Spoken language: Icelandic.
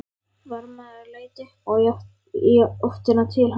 Varðmaður leit upp og í átt til hans.